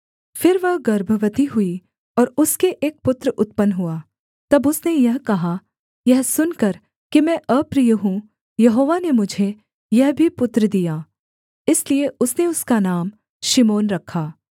फिर वह गर्भवती हुई और उसके एक पुत्र उत्पन्न हुआ तब उसने यह कहा यह सुनकर कि मैं अप्रिय हूँ यहोवा ने मुझे यह भी पुत्र दिया इसलिए उसने उसका नाम शिमोन रखा